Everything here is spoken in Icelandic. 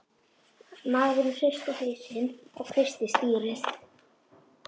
Maðurinn hristi hausinn og kreisti stýrið.